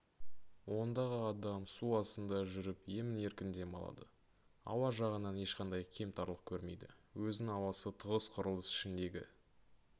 ондағы адам су астында жүріп емін-еркін дем алады ауа жағынан ешқандай кемтарлық көрмейді өзін ауасы тығыз құрылыс ішіндегі